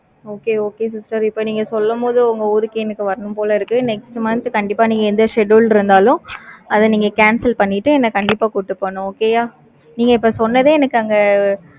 okay okay sister, இப்ப நீங்க சொல்லும் போது, உங்க ஊருக்கு, எனக்கு வரணும் போல இருக்கு. next month கண்டிப்பா, நீங்க எந்த schedule இருந்தாலும், அதை நீங்க cancel பண்ணிட்டு, என்னை கண்டிப்பா கூட்டிட்டு போகனும். okay யா? நீங்க இப்ப சொன்னதே, எனக்கு அங்க,